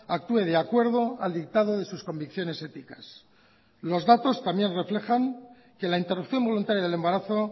actúe de acuerdo al dictado de sus convicciones éticas los datos también reflejan que la interrupción voluntaria del embarazo